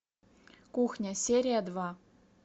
кухня серия два